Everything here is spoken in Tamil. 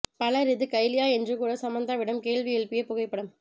பலர் இது கைலியா என்று கூட சமந்தாவிடம் கேள்வி எழுப்பிய புகைப்படம்